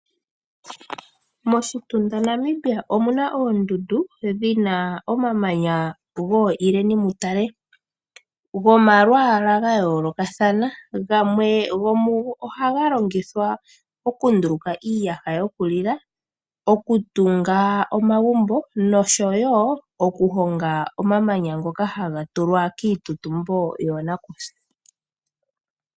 Moshitunda Namibia omuna oondundu, dhina omamanya go ileni mutale, gomalwaala ga yoolokathana. Gwamwe gomugo ohaga longitwa okunduluka iiyaha yokulila, okutunga omagumbo, nosho woo okuhonga omamanya ngoka hagatulwa kiitutumbo yoonakusa.